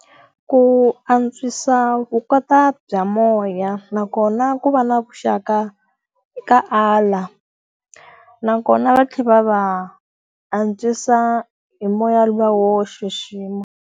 Ku antswisa bya moya nakona ku va na vuxaka ka ala. Nakona va tlhela va va antswisa hi moya wa wo xixima.